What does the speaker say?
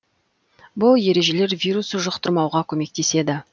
бұл ережелер вирус жұқтырмауға көмектеседі